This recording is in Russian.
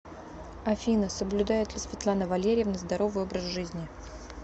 афина соблюдает ли светлана валерьевна здоровый образ жизни